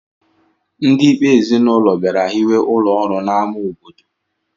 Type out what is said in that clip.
Ndị Ikpe ezinụlọ bịara hiwe ụlọọrụ n'ámá obodo